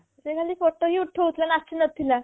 ସେ ଖାଲି photo ହିଁ ଉଠୋଉଥିଲା ନାଚୁ ନଥିଲା